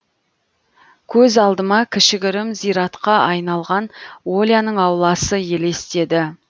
көз алдыма кішігірім зиратқа айналған оляның ауласы елестеді